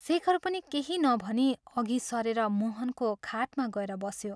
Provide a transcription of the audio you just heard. शेखर पनि केही नभनी अघि सरेर मोहनको खाटमा गएर बस्यो।